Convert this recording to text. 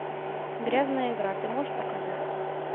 грязная игра ты можешь показать